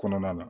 Kɔnɔna na